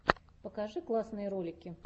покажи классные ролики